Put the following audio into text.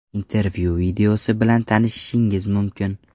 Intervyu videosi bilan tanishishingiz mumkin.